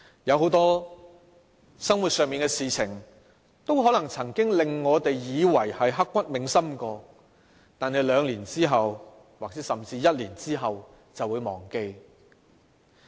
很多生活上的事情都可能令我們以為曾經刻骨銘心，但兩年甚至一年後便會忘記。